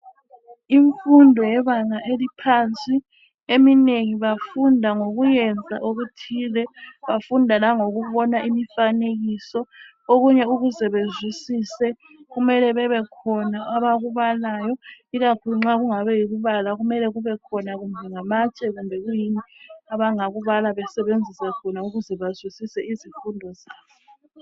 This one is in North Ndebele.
imfundo yebanga eliphansi eminengi bafunda ngokuyenza okuthile bafunda langokubona imifanekiso okunye ukuze bezwisise kkumele kubekhona abakubalayo ikakhulu nxa kungaba yikubala kumele kubekhona kumbe ngamatshe kumbe yikuyini abangakubala besebenzisa khona ukuze bazwisise izifundo zabo